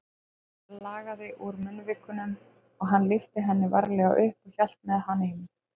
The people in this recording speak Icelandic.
Blóð lagaði úr munnvikunum og hann lyfti henni varlega upp og hélt með hana inn.